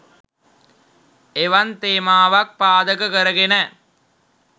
එවන් තේමාවක් පාදක කරගෙන